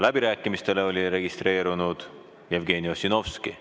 Läbirääkimistele oli registreerunud Jevgeni Ossinovski.